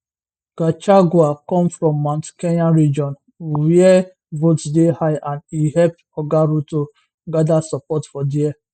gachagua come from mount kenya region wia votes dey high and e help oga ruto gada support for dia